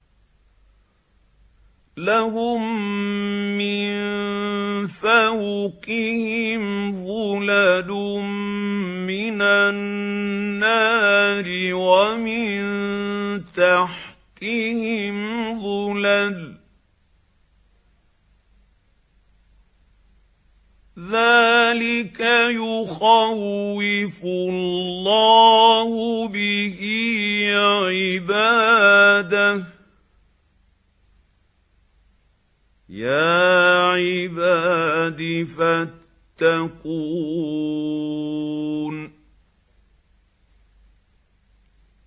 لَهُم مِّن فَوْقِهِمْ ظُلَلٌ مِّنَ النَّارِ وَمِن تَحْتِهِمْ ظُلَلٌ ۚ ذَٰلِكَ يُخَوِّفُ اللَّهُ بِهِ عِبَادَهُ ۚ يَا عِبَادِ فَاتَّقُونِ